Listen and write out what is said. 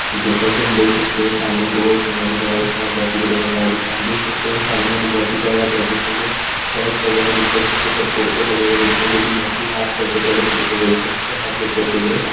जैसा की हम देख सकते है सामने बहुत सुंदर नजारा दिख रहा है बहुत ही बढ़िया नजारा दिख रहा है हम देख सकते हे सामने एक बहुत ही प्यारा बहुत ही सुन्दर शर्ट्स वगैरा दिख रहे है जिसके ऊपर कुर्ते लगे हुए दिख रहे जोकि बहुत ही हाफ जैकेट वाले कुर्ते बोलते हे उनको हाफ जैकेट दिख रहा है।